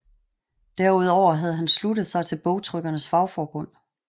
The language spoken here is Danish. Derudover havde han sluttet sig til bogtrykkernes fagforbund